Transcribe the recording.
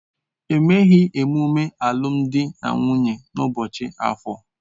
Emeghị emume alụmdi na nwunye n'ụbọchị Afor.